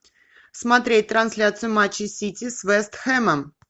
смотреть трансляцию матча сити с вест хэмом